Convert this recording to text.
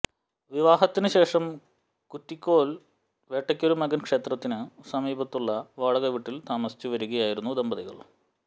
വിവാഹത്തിനു ശേഷം കുറ്റിക്കോൽ വേട്ടക്കൊരു മകൻ ക്ഷേത്രത്തിനു സമീപത്തുള്ള വാടക വീട്ടിൽ താമസിച്ചു വരികയായിരുന്നു ദമ്പതികൾ